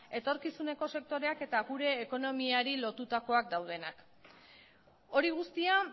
etorkizuneko sektoreak eta gure ekonomiari lotutakoak daudenak hori guztia